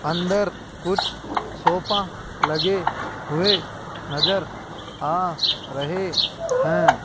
अंदर कुछ सोफा लगे हुए नज़र आ रहे है।